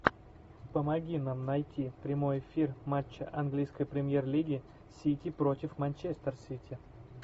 помоги нам найти прямой эфир матча английской премьер лиги сити против манчестер сити